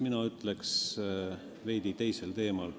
Mina räägin veidi teisel teemal.